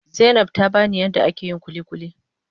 Zainab tabani yadda ake yin kulikuli.